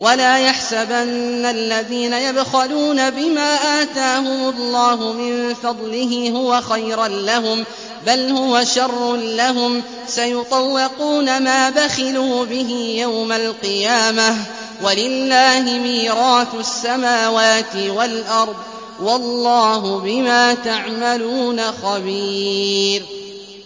وَلَا يَحْسَبَنَّ الَّذِينَ يَبْخَلُونَ بِمَا آتَاهُمُ اللَّهُ مِن فَضْلِهِ هُوَ خَيْرًا لَّهُم ۖ بَلْ هُوَ شَرٌّ لَّهُمْ ۖ سَيُطَوَّقُونَ مَا بَخِلُوا بِهِ يَوْمَ الْقِيَامَةِ ۗ وَلِلَّهِ مِيرَاثُ السَّمَاوَاتِ وَالْأَرْضِ ۗ وَاللَّهُ بِمَا تَعْمَلُونَ خَبِيرٌ